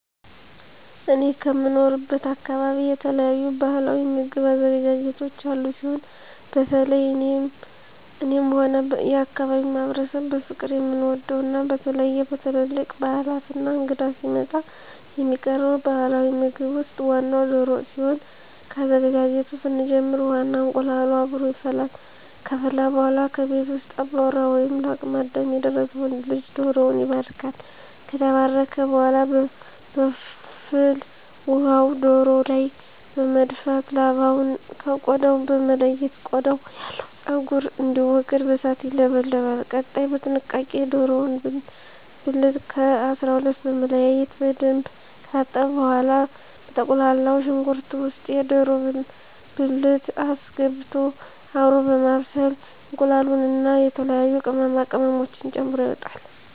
እኔ ከምኖርበት አካበቢ የተለያዩ ባህላዊ ምግብ አዘገጃጀቶች ያሉ ሲሆን በተለየ እኔም ሆነ የአካባቢዉ ማህበረሰብ በፍቅር የምንወደው እና በተለየ በትልልቅ ባህላት እና እንግዳ ሲመጣ የሚቀርበው ባህላዊ ምግብ ውስጥ ዋናው ደሮ ወጥ ሲሆን ከአዘገጃጀቱ ስንጀምር ውሃ እና እንቁላሉ አብሮ ይፈላል ከፈላ በኃላ ከቤት ውስጥ አባወራ ወይም ለአቅመ አዳም የደረሰ ወንድ ልጅ ደሮዉን ይባርካል። ከተባረከ በኃላ በፍል ውሃው ደሮው ላይ በመድፋት ላባውን ከ ቆዳው በመለየት ቆዳው ያለው ፀጉር እንዲወገድ በእሳት ይለበለባል። ቀጣይ በጥንቃቄ የደሮውን ብልት ከ 12 በመለያየት በደንብ ከታጠበ በኃላ በተቁላላው ሽንኩርት ውስጥ የደሮ ብልት አስገብቶ አብሮ በማብሰል እንቁላሉን እና የተለያዩ ቅመማ ቅመሞችን ተጨምሮ ይወጣል።